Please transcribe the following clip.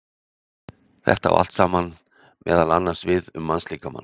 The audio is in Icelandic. Þetta á allt saman meðal annars við um mannslíkamann.